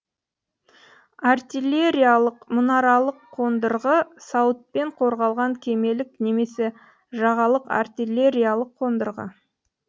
артиллериялық мұнаралық қондырғы сауытпен қорғалған кемелік немесе жағалық артиллериялық қондырғы